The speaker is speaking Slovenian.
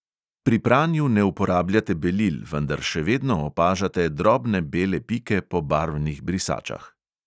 Pri pranju ne uporabljate belil, vendar še vedno opažate drobne bele pike po barvnih brisačah.